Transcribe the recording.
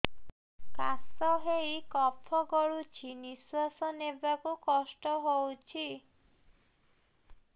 କାଶ ହେଇ କଫ ଗଳୁଛି ନିଶ୍ୱାସ ନେବାକୁ କଷ୍ଟ ହଉଛି